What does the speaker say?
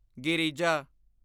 Girija